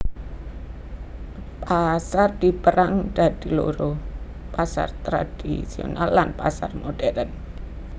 Pasar dipérang dadi loro pasar tradhisional lan pasar modhèrn